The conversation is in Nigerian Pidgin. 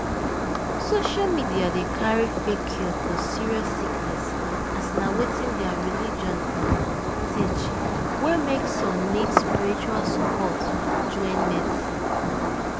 social media dey carry fake cure for serious sickness as na wetin their religion um teach wey make so nid spiritual support join medicine.